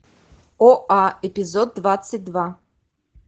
оа эпизод двадцать два